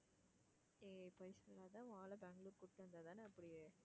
ஏய் பொய் சொல்லாத உன் ஆள பெங்களூரு கூட்டிட்டு வந்த தானே அப்படியே,